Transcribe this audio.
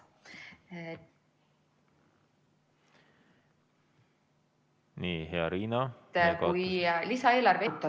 Nii, hea Riina, te kadusite ...